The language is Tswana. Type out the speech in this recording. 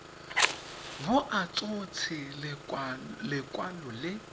bo a tshotse lekwalo le